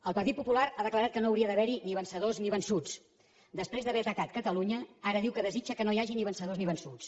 el partit popular ha declarat que no hauria d’haver hi ni vencedors ni vençuts després d’haver atacat catalunya ara diu que desitja que no hi hagi ni vencedors ni vençuts